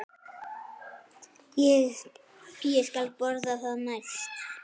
Ég skal borga það næst.